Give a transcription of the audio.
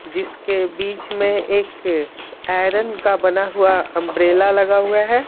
जिसके बीच में एक आयरन का बना हुआ अंब्रेला लगा हुआ है।